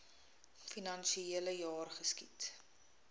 finansiele jaar geskied